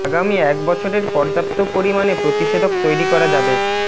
আগামী এক বছরের পর্যাপ্ত পরিমাণে প্রতিষেধক তৈরি করা যাবে